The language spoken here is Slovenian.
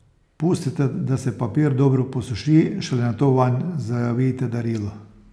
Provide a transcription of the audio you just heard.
Pustite, da se papir dobro posuši, šele nato vanj zavijte darilo.